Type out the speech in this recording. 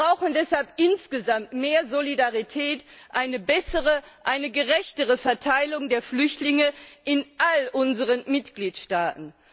Wir brauchen deshalb insgesamt mehr Solidarität, eine bessere, eine gerechtere Verteilung der Flüchtlinge in all unseren Mitgliedstaaten.